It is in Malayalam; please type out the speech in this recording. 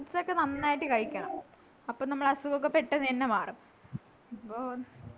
fruits ഒക്കെ നന്നായിട്ട് കഴിക്കണം അപ്പൊ നമ്മളെ അസുഖോക്കേ പെട്ടന്ന് ന്നെ മാറും അപ്പൊ